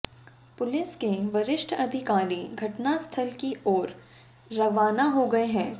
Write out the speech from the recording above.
police के वरिष्ठ अधिकारी घटनास्थल की ओर रवाना हो गए हैं